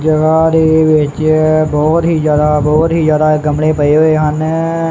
ਜਗਹਾ ਦੇ ਵਿੱਚ ਬਹੁਤ ਹੀ ਜਿਆਦਾ ਬਹੁਤ ਹੀ ਜਿਆਦਾ ਗਮਲੇ ਪਏ ਹੋਏ ਹਨ।